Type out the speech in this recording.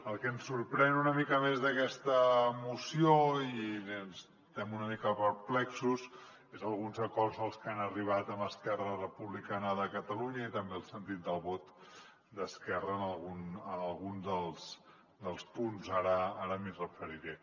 el que ens sorprèn una mica més d’aquesta moció i estem una mica perplexos són alguns acords als que han arribat amb esquerra republicana de catalunya i també el sentit del vot d’esquerra en algun dels punts ara m’hi referiré